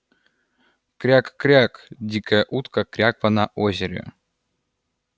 кряк-кряк дикая утка кряква на озере